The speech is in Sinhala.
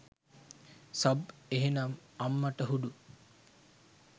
සබ් එහෙනම්! අම්මටහුඩු.